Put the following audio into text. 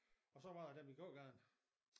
Og så var der den i gågaden